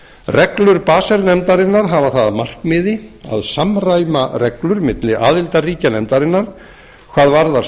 reglur basel nefndarinnar hafa það að markmiði að samræma reglur milli aðildarríkja nefndarinnar hvað varðar